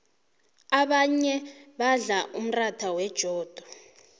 abanye badla umratha wejodo